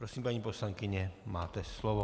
Prosím, paní poslankyně, máte slovo.